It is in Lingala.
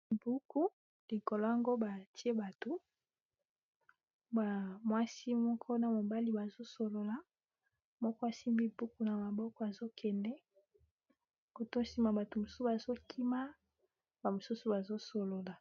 Buku likolo yango batie batu ba mwasi moko na mobali bazosolola moko asimbi buku na maboko azo kende koto nsima bato mosusu bazo kima ba mosusu bazo solola.